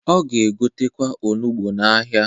Ọ ga-egotekwa onugbo n'ahịa.